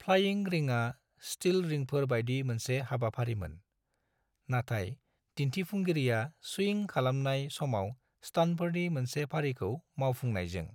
Flying रिंआ still रिंफोर बायदि मोनसे हाबाफारिमोन, नाथाय दिन्थिफुंगिरिया स्विंग खालामनाय समाव स्टान्टफोरनि मोनसे फारिखौ मावफुंनायजों।